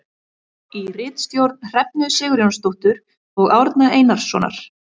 Í ritstjórn Hrefnu Sigurjónsdóttur og Árna Einarssonar.